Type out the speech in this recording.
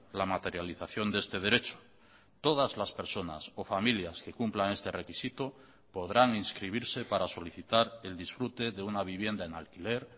la materialización de este derecho todas las personas o familias que cumplan este requisito podrán inscribirse para solicitar el disfrute de una vivienda en alquiler